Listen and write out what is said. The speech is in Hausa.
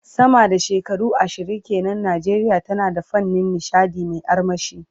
Sama da shekaru ashirin ke nan, Najeriya tana da fannin nishadi mai armashi.